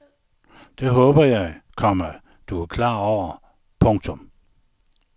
Det håber jeg, komma du er klar over. punktum